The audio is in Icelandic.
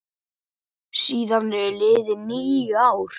Síðan eru liðin níu ár.